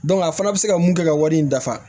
a fana bɛ se ka mun kɛ ka wari in dafa